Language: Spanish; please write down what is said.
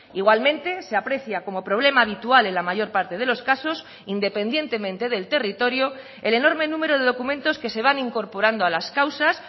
igualmente se aprecia como problema habitual en la mayor parte de los casos independientemente del territorio el enorme número de documentos que se van incorporando a las causas